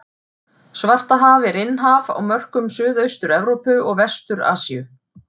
Svartahaf er innhaf á mörkum Suðaustur-Evrópu og Vestur-Asíu.